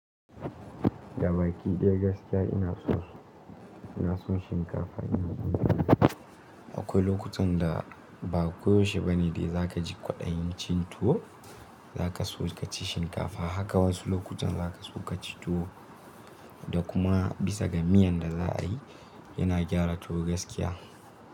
Da baki ɗaya gaskiya ina so, ina son shinkafa ina so tuwo. Akwai lokutan da ba koyaushe ba ne dai za ka ji kwaɗayi cin tuwo za ka so ka ci shinkafa. Haka wasu lokutan za ka so ka ci tuwo da kuma bisa ga miyan da za a yi yana gyara tuwo gaskiya.